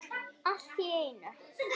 Allt í einu.